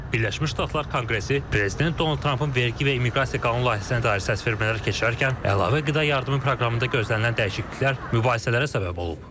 Birləşmiş Ştatlar Konqresi Prezident Donald Trumpın vergi və immiqrasiya qanun layihəsinə dair səsvermələr keçirərkən əlavə qida yardımı proqramında gözlənilən dəyişikliklər mübahisələrə səbəb olub.